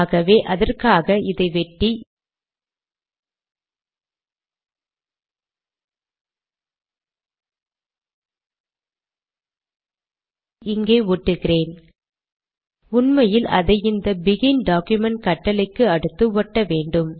ஆகவே அதற்காக இதை வெட்டி இங்கே ஒட்டுகிறேன் உண்மையில் அதை இந்த பெகின் டாக்குமென்ட் கட்டளைக்கு அடுத்து ஒட்ட வேண்டும்